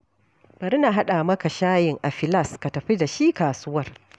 Bari na haɗa maka shayin a filas ka tafi da shi kasuwar.